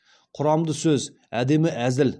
құрамды сөз әдемі әзіл